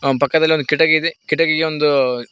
ಅವನ್ ಪಕ್ಕದಲ್ಲಿ ಒಂದು ಕಿಟಕಿ ಇದೆ ಕಟ್ಟಿಗೆಗೊಂದು--